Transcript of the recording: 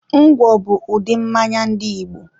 ngwọ bụ ụdị mmanya ndị Igbo.